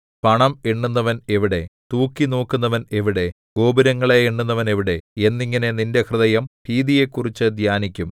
പണം എണ്ണുന്നവൻ എവിടെ തൂക്കിനോക്കുന്നവൻ എവിടെ ഗോപുരങ്ങളെ എണ്ണുന്നവൻ എവിടെ എന്നിങ്ങനെ നിന്റെ ഹൃദയം ഭീതിയെക്കുറിച്ചു ധ്യാനിക്കും